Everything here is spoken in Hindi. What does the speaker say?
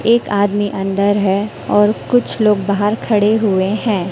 एक आदमी अंदर है और कुछ लोग बाहर खड़े हुए हैं।